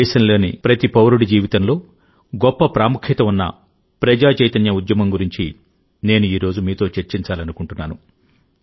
దేశంలోని ప్రతి పౌరుడి జీవితంలో గొప్ప ప్రాముఖ్యత ఉన్న ప్రజా చైతన్య ఉద్యమం గురించి నేను ఈ రోజు మీతో చర్చించాలనుకుంటున్నాను